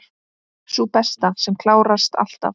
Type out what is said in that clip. Sú besta, sem klárast alltaf.